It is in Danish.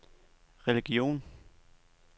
religion